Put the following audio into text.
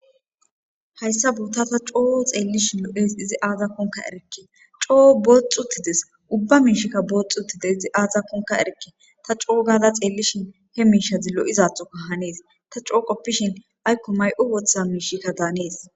Hayssa buutta ta coo xeellishi lo7es izi aazakkonka erikke coo booxxutides ubba miishikka booxxuttide izi aazakonka erekke ta coo gaada xeellishin he miishadi lo7izathoka hanees ta coo qoppishin Aiko may7u wooththa miishikka daanees.